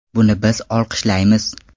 Buni biz olqishlaymiz.